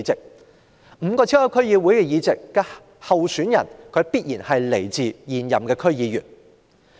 就5個超級區議會議席而言，其候選人必須是現任區議員。